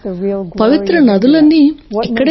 పవిత్ర నదులన్నీ ఇక్కడ ఉన్నాయి